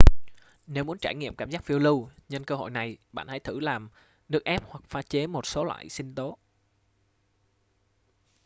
nếu muốn trải nghiệm cảm giác phiêu lưu nhân cơ hội này bạn hãy thử làm nước ép hoặc pha chế một số loại sinh tố